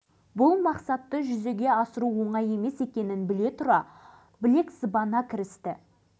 алашыбай мұнда келе сала көптен бері айтыла-айтыла арманға айналған кіші арал теңізін қалпына келтіруді қолға алды